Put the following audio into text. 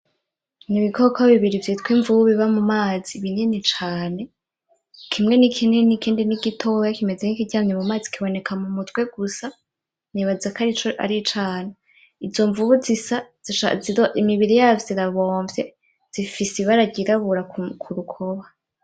N' ibikoko bibiri vyitwa imvubu biba mumazi binini cane, kimwe ni kinini ikindi ni gitoya kimeze nk' ikiryamye mumazi kiboneka mumutwe gusa nibazako arico aricana. Izo mvubu zisa imibiri yazo irabomvye zifise ibara ryirabura kurukoba.